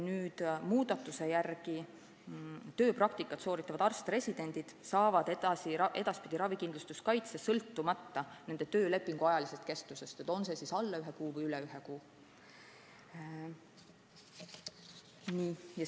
Edaspidi saavad tööpraktikat sooritavad arst-residendid ravikindlustuskaitse sõltumata nende töölepingu kestusest, on see siis alla ühe kuu või üle ühe kuu.